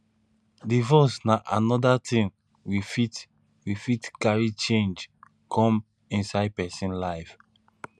divorce na anoda thing we fit we fit carry change come inside person life